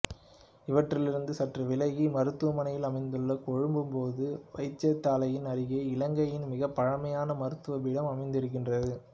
இவற்றிலிருந்து சற்று விலகி மருதானையில் அமைந்துள்ள கொழும்பு பொது வைத்தியசாலையின் அருகே இலங்கையின் மிகப் பழைமையான மருத்துவ பீடம் அமைந்திருக்கின்றது